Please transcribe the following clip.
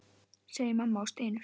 segir mamma og stynur.